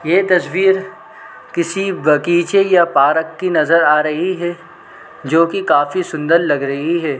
ये तस्वीर किसी बगीचे या पारक की नज़र आ रही है जो की काफी सुन्दर लग रही है ।